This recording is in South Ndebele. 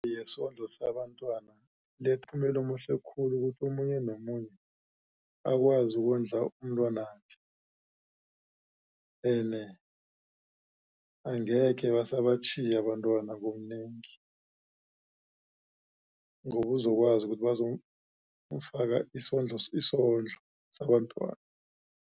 Yesondlo sabentwana inomphumela omuhle khulu ukuthi omunye nomunye akwazi ukondla umntwanakhe ene angekhe basabatjhiya abantwana ngobunengi ngobuzokwazi ukuthi bazomfaka isondlo sabentwana.